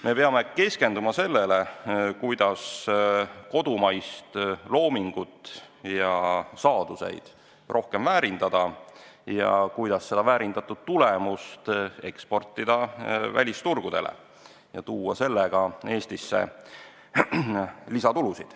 Me peame keskenduma sellele, kuidas kodumaal loodut, meie saaduseid rohkem väärindada ja kuidas seda väärindatud tulemust eksportida välisturgudele ja teenida sel moel Eestisse lisatulu.